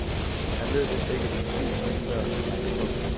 Han ved vist ikke præcis hvilken dør han har banket på.